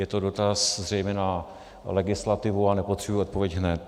Je to dotaz zřejmě na legislativu a nepotřebuji odpověď hned.